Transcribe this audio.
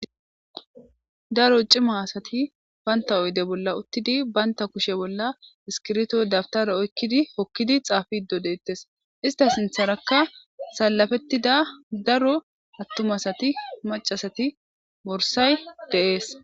Daaro ciima assati bantta oydde bolla uttidi bantta kushshe bolla isskirbito dawutare oykkidi hookidi xaffidi de'ettes issta sinththeraka salappetida daaro attuma assati macca assati borssay de'ess.